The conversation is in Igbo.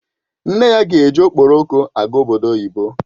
Nne ya ga-eji Okporoko aga obodo oyibo